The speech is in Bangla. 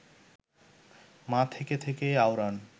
মা থেকে থেকেই আওড়ান